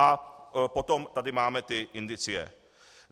A potom tady máme ty indicie.